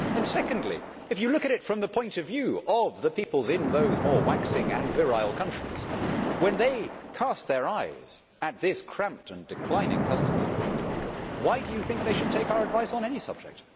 Secondly, if you look at it from the point of view of the peoples in those more waxing and virile countries when they cast their eyes at this cramped and declining customs union, why do you think they should take our advice on any subject?